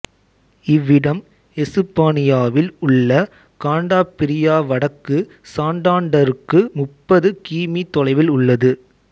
இவ்விடம் எசுப்பானியாவில் உள்ள காண்டாபிரியா வடக்கு சாண்டாண்டருக்கு முப்பது கி மீ தொலைவில் உள்ளது